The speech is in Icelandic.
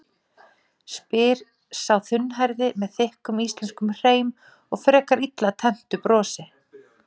spyr sá þunnhærði með þykkum íslenskum hreim og frekar illa tenntu brosi.